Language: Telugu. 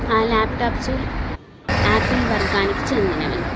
ఆ ల్యాప్టాప్సు ఆపిల్ వర్గానికి చెందినవి.